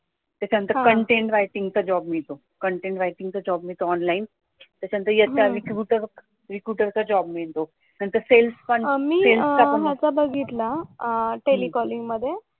त्यांचं content writing चा job मिळतो content writing चा जॉब मिळतो ऑनलाईन, त्याच्या नंतर रेपोर्टरचा बघ रेपोर्टरचा जॉब मिळतो. त्याच्यानंतर सेल्सचा बघ सेल्सचा पण मिळतो मी त्याच्याआधी बघितला टेलिकॅलीन्ग मध्ये